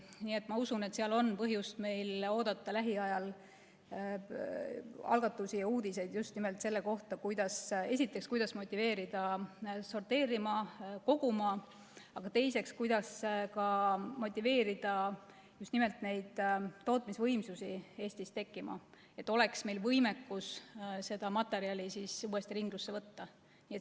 Nii et ma usun, et meil on põhjust oodata lähiajal algatusi ja uudiseid just nimelt selle kohta, kuidas, esiteks, motiveerida sorteerima ja koguma, aga teiseks, kuidas motiveerida just nimelt neid tootmisvõimsusi Eestis tekkima, et meil oleks võimekus materjali uuesti ringlusse võtta.